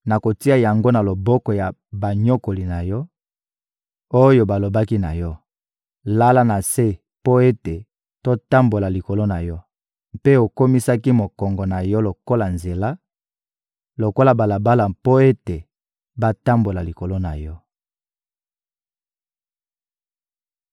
Nakotia yango na loboko ya banyokoli na yo, oyo balobaki na yo: ‹Lala na se mpo ete totambola likolo na yo!› Mpe okomisaki mokongo na yo lokola nzela, lokola balabala mpo ete batambola likolo na yo.»